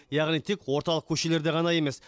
яғни тек орталық көшелерде ғана емес